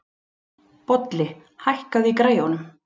Bolli, hækkaðu í græjunum.